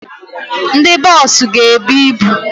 Ndị boosu ga-ebu ịbụ